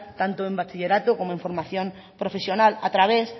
tanto en bachillerato como en formación profesional a través